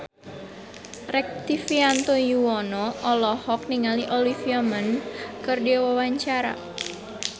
Rektivianto Yoewono olohok ningali Olivia Munn keur diwawancara